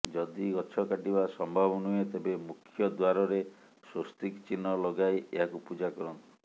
ଯଦି ଗଛ କାଟିବା ସମ୍ଭବ ନୁହେଁ ତେବେ ମୁଖ୍ୟ ଦ୍ୱାରରେ ସ୍ୱସ୍ତିକ ଚିହ୍ନ ଲଗାଇ ଏହାକୁ ପୂଜା କରନ୍ତୁ